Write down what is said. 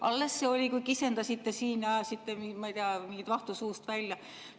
Alles see oli, kui kisendasite siin ja ajasite, ma ei tea, mingit vahtu suust välja.